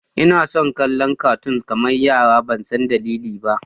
Ina son kallon catoon kamar yara ban san dalili ba.